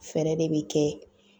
Fɛɛrɛ de bi kɛ